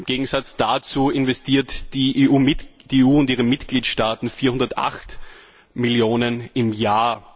Im Gegensatz dazu investieren die EU und ihre Mitgliedstaaten 408 Millionen im Jahr.